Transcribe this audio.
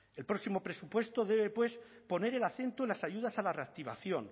el próximo presupuesto debe poner el acento en las ayudas a la reactivación